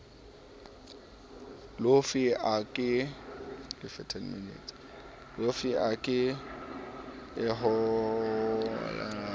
lofe a ka hlolehang ho